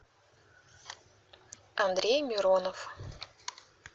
андрей миронов